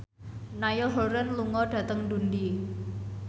Niall Horran lunga dhateng Dundee